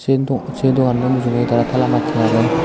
sei do sei doganno mujeindi tara tala macchey agey.